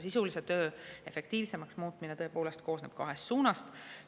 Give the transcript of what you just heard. Sisulise töö efektiivsemaks muutmine koosneb kahest suunast.